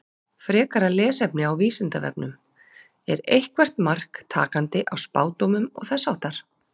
Frekara lesefni á Vísindavefnum: Er eitthvert mark takandi á spádómum og þess háttar?